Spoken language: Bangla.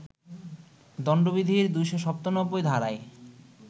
দণ্ডবিধির ২৯৭ ধারায়